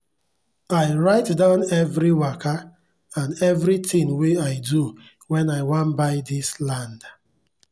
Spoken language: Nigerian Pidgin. i write down everi waka and every thing wey i do when i wan buy dis land